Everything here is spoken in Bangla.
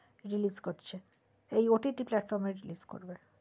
relese করছে এই OTT platform এ release করবে